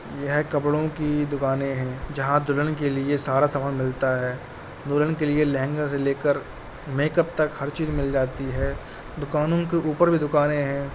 यह कपड़ों की दुकानें हैं जहाँ दुल्हन के लिए सारा समान मिलता है। दुल्हन के लिए लहंगा से लेकर मेकअप तक हर चीज मिल जाती है। दुकानों के ऊपर भी दुकाने हैं।